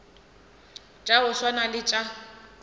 tša go swana le tša